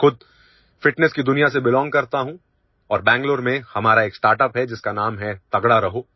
मैं खुद फिटनेस की दुनिया से बेलोंग करता हूं और बेंगलुरु में हमारा एक स्टार्टअप है जिसका नाम है तगड़ा रहो